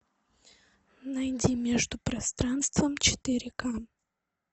найди между пространством четыре ка